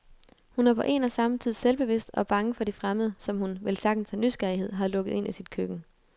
Hun er på en og samme tid selvbevidst og bange for de fremmede, som hun, vel sagtens af nysgerrighed, har lukket ind i sit køkken.